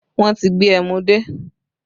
Wọn tí gbé ẹmu dé